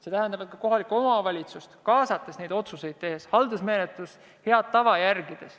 See tähendab, et kohalikku omavalitsust tuleb kaasata nende otsuste tegemisse, järgides haldusmenetluse head tava.